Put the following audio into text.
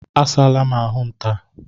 Asaa la m ahụ m taa